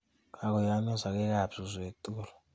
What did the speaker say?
Kokoyoomnyo sakeek ab suusweek tukul.